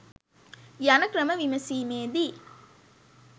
යන ක්‍රම විමසීමේදී